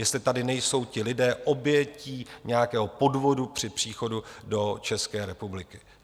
Jestli tady nejsou ti lidé obětí nějakého podvodu při příchodu do České republiky.